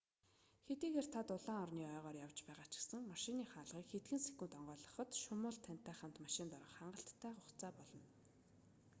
хэдийгээр та дулаан орны ойгоор явж байгаа ч гэсэн машины хаалгыг хэдхэн секунд онгойлгоход шумуул тантай хамт машинд орох хангалттай хугацаа болно